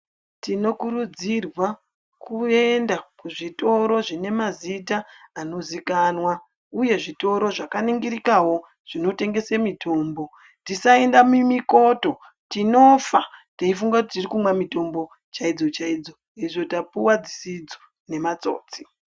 Tinokurudzirwa kuenda kuzvitoro zvine mazita anoziikanwa, uye zvitoro zvakaningirikawo zvinotengese mitombo. Tisaenda mumikoto tinofa teifunga kuti, tiri kumwa mitombo chaidzo chaidzo, hezvo tapuwa mutombo dzisidzo nematsotsi.